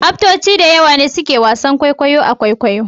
Aftoci da yawa ne suke wasan kwaikwayon kwaikwayo